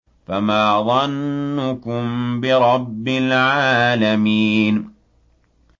فَمَا ظَنُّكُم بِرَبِّ الْعَالَمِينَ